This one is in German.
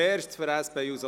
() Über alles.